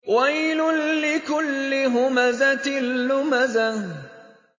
وَيْلٌ لِّكُلِّ هُمَزَةٍ لُّمَزَةٍ